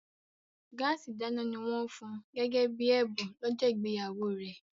Gáàsì ìdáná ni wọ́n fun gẹ́gẹ́ bí ẹ̀bùn lọ́jọ́ ìgbéyàwó rẹ̀